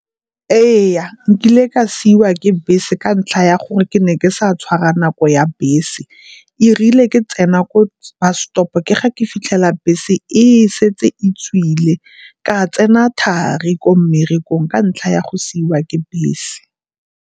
Ee, nkile ka siwa ke bese ka ntlha ya gore ke ne ke sa tshwara nako ya bese. E rile ke tsena ko bus stop ke ga ke fitlhela bese e setse e tswile, ka tsena thari ko mmerekong ka ntlha ya go siwa ke bese.